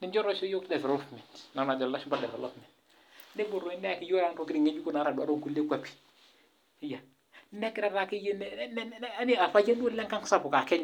ninche oisho iyiok development nepuo doi neyaki iyiok ntokitin ng'ejuk natodua too nkulie kwapie orpayian duo lengang sapuk aa Kenya